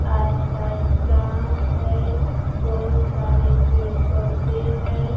आस पास गांव है बहुत सारे पेड़ पौधे हैं।